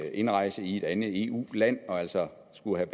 indrejse i et andet eu land og som altså skulle have